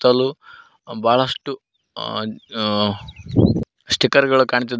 ಸುತ್ತಲು ಬಹಳಷ್ಟು ಸ್ಟಿಕರ್ ಗಳು ಕಾಣ್ತಿದ್ದಾ--